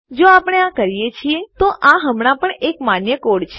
જો આપણે આ કરીએ છીએ તો આ હમણાં પણ એક માન્ય કોડ છે